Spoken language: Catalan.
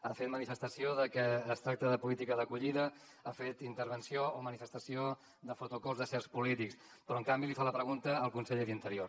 ha fet manifestació de que es tracta de política d’acollida ha fet intervenció o manifestació de photocalls de certs polítics però en canvi li fa la pregunta al conseller d’interior